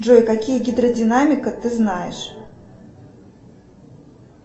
джой какие гидродинамика ты знаешь